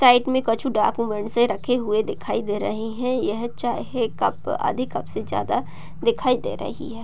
Side मे कछु रखे हुए दिखाई दे रहे है । यह चाय है । कप आधे कप से ज्यादा दिखाई दे रही है ।